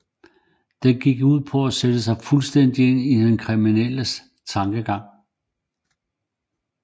Den gik ud på at sætte sig fuldstændigt ind i den kriminelles tankegang